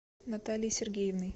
натальей сергеевной